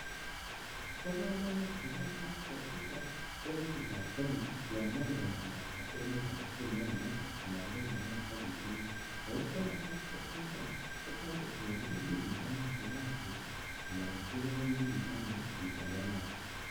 Bo komonut Kenyan passport ichuton en chitab Kenya yon Moe komanda kwo emet age agetugul nekamach I anan ko yon Moe kwo bitonin. Oko Kenyan passport initet kotoreti yon iwendi bitonin KO kasit I anan ko kiwendi bi toni isweitayatate